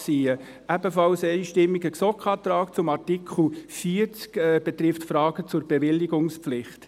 Ein ebenfalls einstimmiger GSoK-Antrag zu Artikel 40 betrifft Fragen zur Bewilligungspflicht.